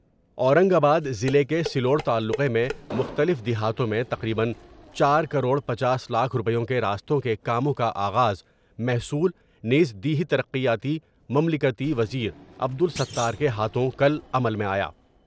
اورنگ آباد ضلع کے سلوڑ تعلقے میں مختلف دیہاتوں میں تقریبا چار کروڑ پنچاس لاکھ روپیوں کے راستوں کے کاموں کا آغاز محصول نیز دیہی ترقیاتی مملکتی وزیرعبدالستار کے ہاتھوں کل عمل میں آیا ۔